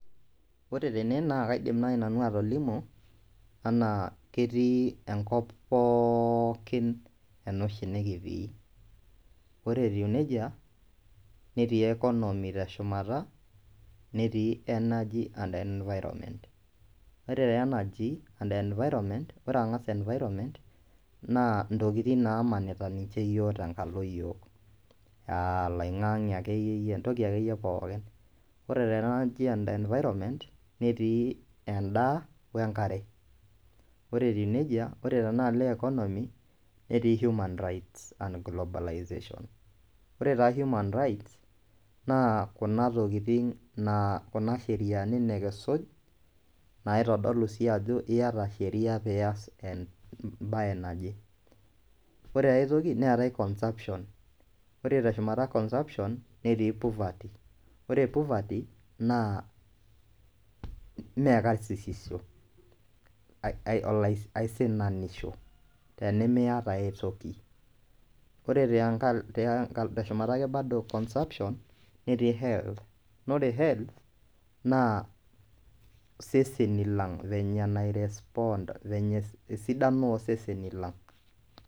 Ore tene naa kaidim naaji nanu atolimu enaa ketii enkop pookin ena oshi nikitii ore etiu nejia netii economy teshumata netii energy and environment ore energy and environment ore ang'as environment naa intokitin naamanita ninche iyiok tenkalo iyiok aa alaing'ange akeyie entoki akeyie pooik ore tena energy and environment netiii endaa wenkare ore etiu nejia ore tenaalo economy netii human rights and ecobolization ore taa human rights naa kuna tokitin kuna sheriani nikisuj naaitodolu ajo iyata sheria naitodolu emabye naje ore aitoki neetai conserption ore teshumata conserption netii poverty ore poverty naa mee karsisiho aisinanisho tenemiata aitoki ore teshuma ake bado conserption netii health naa ore health naa iseseni lang venye nai respond esidano ooseseni lang.